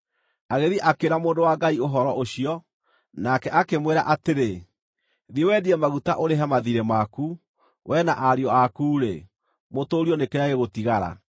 Agĩthiĩ akĩĩra mũndũ wa Ngai ũhoro ũcio, nake akĩmwĩra atĩrĩ, “Thiĩ wendie maguta ũrĩhe mathiirĩ maku. We na ariũ aku-rĩ, mũtũũrio nĩ kĩrĩa gĩgũtigara.”